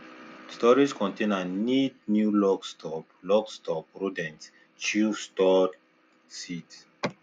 storage container need new lock stop lock stop rodents chew stored seeds